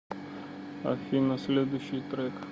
афина следущий трек